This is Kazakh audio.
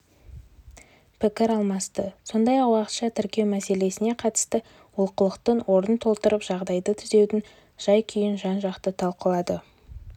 пікір алмасты сондай-ақ уақытша тіркеу мәселесіне қатысты олқылықтың орнын толтырып жағдайды түзеудің жай-күйін жан-жақты талқылады